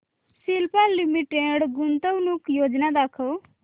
Cipla limited गुंतवणूक योजना दाखव